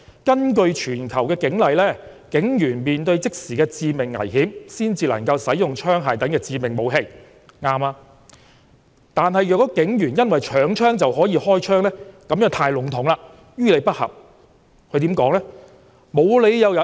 "根據全球警例，警員面對即時的致命危險時，才能夠使用槍械等致命武器"，正確，"但倘警員因搶槍就可以開槍，這便太籠統，亦於理不合"，他又怎說呢？